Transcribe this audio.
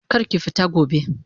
Kar ki fita gobe!